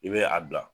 I bɛ a bila